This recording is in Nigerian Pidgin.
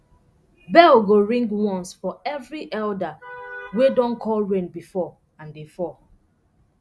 bell go ring once for every elder wey don call rain before and e fall